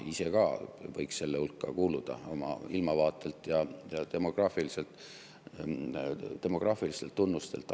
Ma ise ka võiks nende hulka kuuluda oma ilmavaatelt ja demograafilistelt tunnustelt.